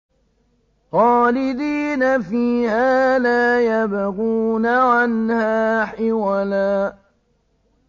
خَالِدِينَ فِيهَا لَا يَبْغُونَ عَنْهَا حِوَلًا